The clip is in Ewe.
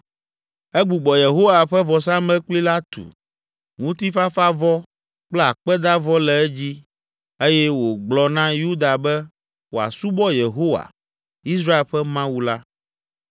Egbugbɔ Yehowa ƒe vɔsamlekpui la tu, ŋutifafavɔ kple akpedavɔ le edzi eye wògblɔ na Yuda be wòasubɔ Yehowa, Israel ƒe Mawu la.